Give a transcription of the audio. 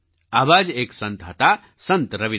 આવા જ એક સંત હતા સંત રવિદાસ